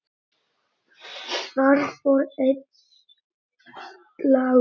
Þar fór einn slagur.